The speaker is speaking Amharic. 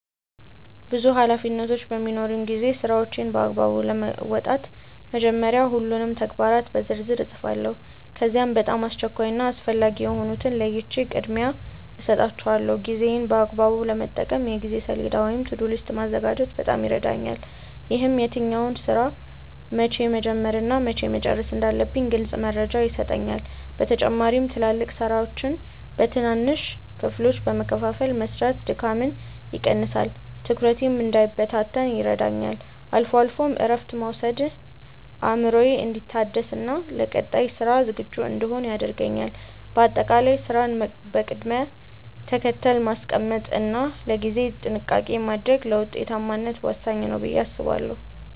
ብዙ ኃላፊነቶች በሚኖሩኝ ጊዜ ስራዎቼን በአግባቡ ለመወጣት መጀመሪያ ሁሉንም ተግባራት በዝርዝር እጽፋቸዋለሁ። ከዚያም በጣም አስቸኳይ እና አስፈላጊ የሆኑትን ለይቼ ቅድሚያ እሰጣቸዋለሁ። ጊዜዬን በአግባቡ ለመጠቀም የጊዜ ሰሌዳ ወይም "To-do list" ማዘጋጀት በጣም ይረዳኛል። ይህም የትኛውን ስራ መቼ መጀመር እና መቼ መጨረስ እንዳለብኝ ግልጽ መረጃ ይሰጠኛል። በተጨማሪም ትላልቅ ስራዎችን በትንንሽ ክፍሎች በመከፋፈል መስራት ድካምን ይቀንሳል፤ ትኩረቴም እንዳይበታተን ይረዳኛል። አልፎ አልፎም እረፍት መውሰድ አእምሮዬ እንዲታደስና ለቀጣይ ስራ ዝግጁ እንድሆን ያደርገኛል። በአጠቃላይ ስራን በቅደም ተከተል ማስቀመጥ እና ለጊዜ ጥንቃቄ ማድረግ ለውጤታማነት ወሳኝ ነው ብዬ አምናለሁ።